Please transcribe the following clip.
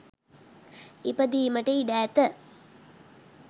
ඉපදීමට ඉඩ ඇත.